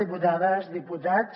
diputades diputats